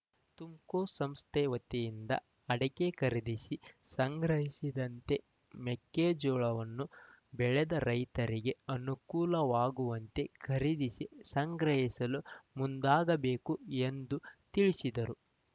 ತುಮ್‌ಕೋಸ್‌ ಸಂಸ್ಥೆ ವತಿಯಿಂದ ಅಡಕೆ ಖರೀದಿಸಿ ಸಂಗ್ರಹಿಸಿದಂತೆ ಮೆಕ್ಕೆಜೋಳವನ್ನು ಬೆಳೆದ ರೈತರಿಗೆ ಅನುಕೂಲವಾಗುವಂತೆ ಖರೀದಿಸಿ ಸಂಗ್ರಹಿಸಲು ಮುಂದಾಗಬೇಕು ಎಂದು ತಿಳಿಸಿದರು